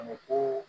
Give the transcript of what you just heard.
A bɛ ko